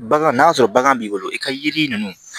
Bagan n'a sɔrɔ bagan b'i bolo i ka yiri ninnu